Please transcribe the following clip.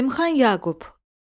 Zəlimxan Yaqub.